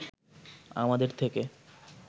আমাদের থেকে